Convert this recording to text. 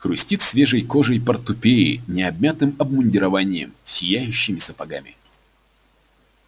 хрустит свежей кожей портупеи не обмятым обмундированием сияющими сапогами